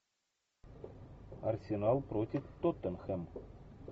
арсенал против тоттенхэм